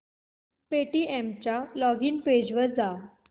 Paytm च्या login page वर जा